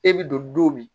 E bi don don min